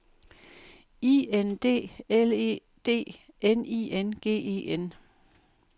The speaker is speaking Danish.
I N D L E D N I N G E N